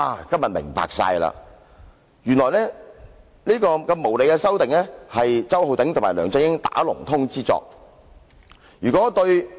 今天終於真相大白，原來這項無理修訂是周浩鼎議員與梁振英"打同通"之作。